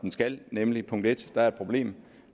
skal nemlig punkt 1 der er et problem